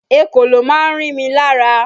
Ekòló máa ń rí mi lára